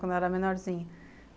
Quando ela era menorzinha.